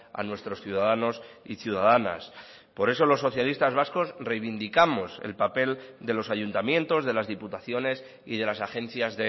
a nuestros ciudadanos y ciudadanas por eso los socialistas vascos reivindicamos el papel de los ayuntamientos de las diputaciones y de las agencias